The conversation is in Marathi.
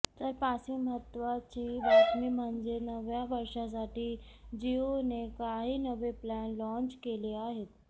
तर पाचवी महत्त्वाची बातमी म्हणजे नव्या वर्षासाठी जिओने काही नवे प्लॅन लाँच केले आहेत